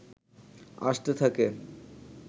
আসতে থাকে